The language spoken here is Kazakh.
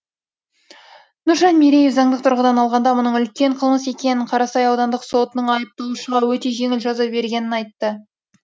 нұржан мереев заңдық тұрғыдан алғанда мұның үлкен қылмыс екенін қарасай аудандық сотының айыпталушыға өте жеңіл жаза бергенін айтты